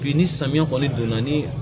Bi ni samiya kɔni donna ni